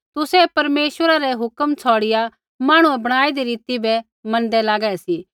तुसै परमेश्वरै रै हुक्मा छ़ौड़िआ मांहणुऐ बणाईदी रीति बै मैनदै लागै सी